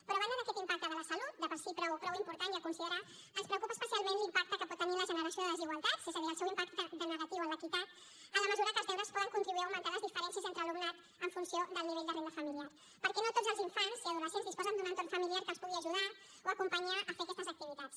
però a banda d’aquest impacte de la salut de per si prou important i a considerar ens preocupa especialment l’impacte que pot tenir la generació de desigualtats és a dir el seu impacte negatiu en l’equitat en la mesura que els deures poden contribuir a augmentar les diferències entre alumnat en funció del nivell de renda familiar perquè no tots els infants i adolescents disposen d’un entorn familiar que els pugui ajudar o acompanyar a fer aquestes activitats